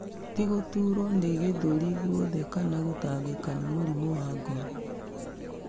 Tĩ gũturo nĩ gĩthũri gwothe kana gũtangĩka nĩ mũrimũ wa ngoro